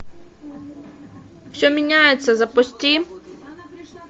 все меняется запусти